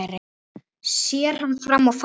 Sér hann fram á fall?